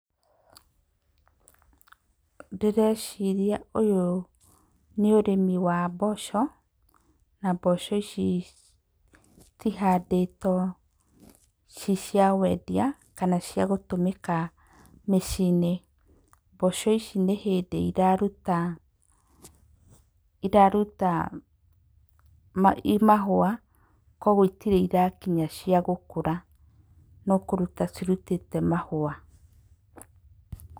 Ndĩreciria ũyũ nĩ ũrĩmi wa mboco na mboco ici cihandĩtwo ciciawendia kana cia gũtũmĩka mĩciĩ-inĩ. Mboco ici nĩ hĩndĩ iraruta, iraruta mahũa, kũoguo itirĩ irakinya ciagũkũra no kũruta cirutĩte mahũa.